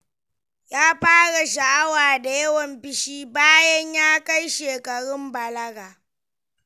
Ya fara sha'awa da yawan fushi bayan ya kai shekarun balaga.